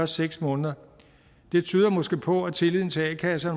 seks måneder det tyder måske på at tilliden til a kasser